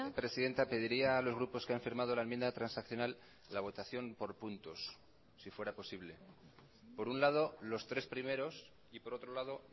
presidenta pediría a los grupos que han firmado la enmienda transaccional la votación por puntos si fuera posible por un lado los tres primeros y por otro lado